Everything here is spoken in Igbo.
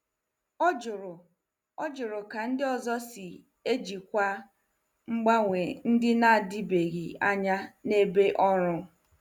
Ọ jụrụ Ọ jụrụ ka ndị ọzọ si ejikwa mgbanwe ndị na-adịbeghị anya n'ebe ọrụ.